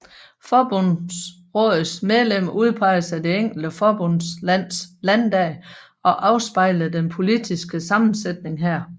Forbundsrådets medlemmer udpeges af det enkelte forbundslands Landdag og afspejler den politiske sammensætning her